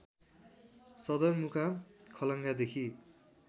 सदरमुकाम खलङ्गादेखि